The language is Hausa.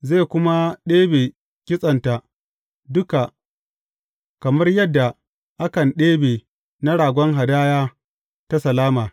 Zai kuma ɗebe kitsenta duka kamar yadda a kan ɗebe na ragon hadaya ta salama.